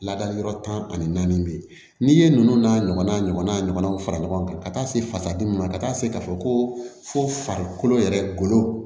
Ladali yɔrɔ tan ani naani de ye n'i ye ninnu n'a ɲɔgɔnna ɲɔgɔna ɲɔgɔnw fara ɲɔgɔn kan ka taa se fasadimi ma ka taa se k'a fɔ ko fo farikolo yɛrɛ golo